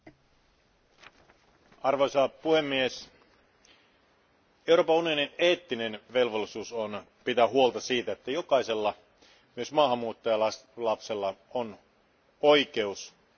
Arvoisa puhemies, Euroopan unionin eettinen velvollisuus on pitää huolta siitä, että jokaisella, myös maahanmuuttajalapsella, on oikeus hyvään koulutukseen.